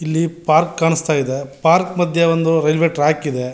ಇಲ್ಲಿ ಪಾರ್ಕ್ ಕಾಣಸ್ತಾ ಇದೆ ಪಾರ್ಕ್ ಮದ್ಯೆ ಒಂದು ರೈಲ್ವೆ ಟ್ರ್ಯಾಕ್ ಇದೆ.